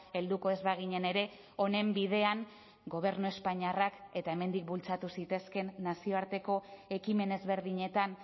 helduko ez baginen ere honen bidean gobernu espainiarrak eta hemendik bultzatu zitezkeen nazioarteko ekimen ezberdinetan